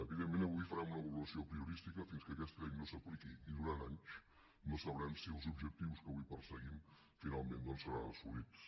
evidentment avui farem una valoració apriorística fins que aquesta llei no s’apliqui i durant anys no sabrem si els objectius que avui perseguim finalment doncs seran assolits